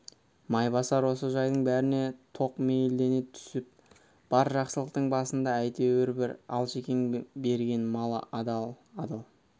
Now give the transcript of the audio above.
майбасар осы жайдың бәріне тоқмейілдене түсіп бар жақсылықтың басында әйтеуір бір алшекең берген мал адал адал